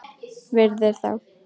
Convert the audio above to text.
Virðir þá.